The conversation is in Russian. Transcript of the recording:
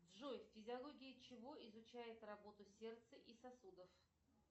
джой физиология чего изучает работу сердца и сосудов